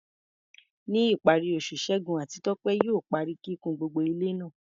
Ní ìparí oṣù, Segun àti Tope yóò parí kíkùn gbogbo ilé náà.